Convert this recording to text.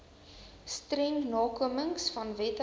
streng nakomingvan wette